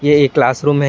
यह एक classroom है।